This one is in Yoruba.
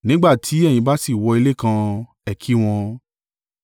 Nígbà tí ẹ̀yin bá sì wọ ilé kan, ẹ kí i wọn.